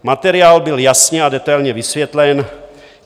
Materiál byl jasně a detailně vysvětlen.